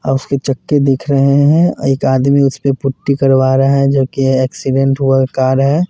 अ उसके चक्के दिख रहे हैं एक आदमी उसपे पुट्टी करवा रहा है जोकि एक्सीडेंट हुआ कार है।